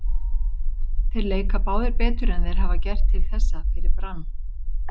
Þeir leika báðir betur en þeir hafa gert til þessa fyrir Brann.